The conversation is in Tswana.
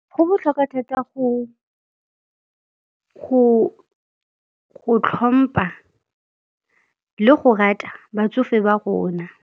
Go botlhokwa thata go tlhompha le go rata batsofe ba rona.